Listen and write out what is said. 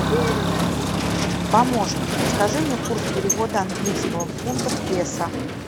помощник подскажи мне курс перевода английского фунта в песо